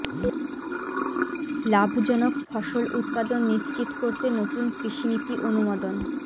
লাভজনক ফসল উৎপাদন নিশ্চিত করতে নতুন কৃষি নীতি অনুমোদন